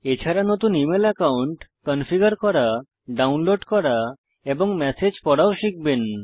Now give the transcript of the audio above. এছাড়া নতুন email account configure করা ডাউনলোড করা এবং ম্যাসেজ পড়াও শিখবেন